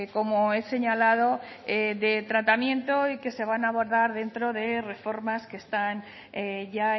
como he señalado de tratamiento y que se van a abordar dentro de reformas que están ya